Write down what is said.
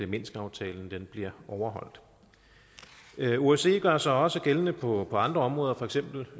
minskaftalen bliver overholdt osce gør sig også gældende på andre områder for eksempel